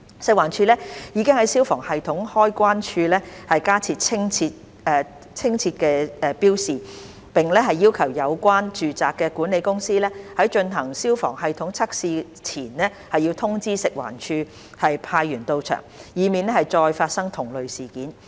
食環署已在消防系統開關處加設清晰標示，並要求有關住宅的管理公司在進行消防系統測試前通知食環署派員到場，以免再次發生同類事件。